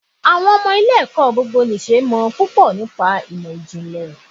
Àwọn ọmọ ilé ẹ̀kọ́ gbogbo nì ṣe mọ̀ púpọ̀ nípa ìmò ìjìnlẹ̀.